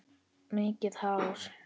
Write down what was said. Mikið hár.